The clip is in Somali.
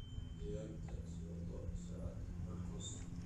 ciyaarta soo socota podcast